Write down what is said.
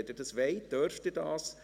Wenn Sie das wollen, dürfen Sie das.